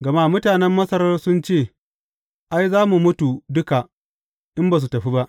Gama mutanen Masar sun ce, Ai, za mu mutu duka, in ba su tafi ba!